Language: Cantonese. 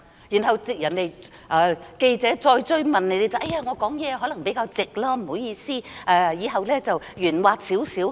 然後記者再追問她，她才說自己說話可能比較直接，不好意思，以後會圓滑少許。